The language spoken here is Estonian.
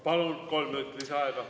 Palun, kolm minutit lisaaega!